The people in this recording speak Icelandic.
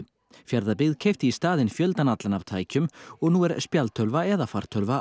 Fjarðabyggð keypti í staðinn fjöldann allan af tækjum og nú er spjaldtölva eða fartölva